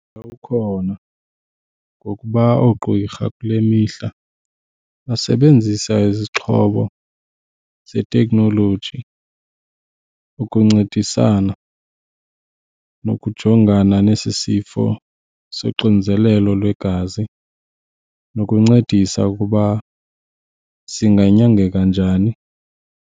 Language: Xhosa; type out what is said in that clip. Ukhona ngokuba oogqirha kule mihla basebenzisa izixhobo zeteknoloji ukuncedisana nokujongana nesi sifo soxinzelelo lwegazi nokuncedisa ukuba singanyangeka njani.